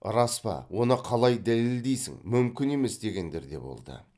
рас па оны қалай дәлелдейсің мүмкін емес дегендер де болды